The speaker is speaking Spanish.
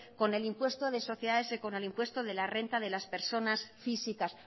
con el impuesto de sociedades y con el impuesto de la renta de las personas físicas